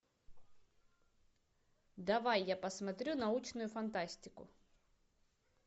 давай я посмотрю научную фантастику